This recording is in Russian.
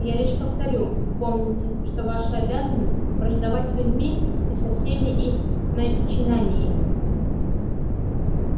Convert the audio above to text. я лишь повторю помните что ваша обязанность враждовать с людьми и со всеми их начинаниями